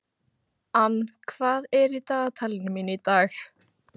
Ann, hvað er í dagatalinu mínu í dag?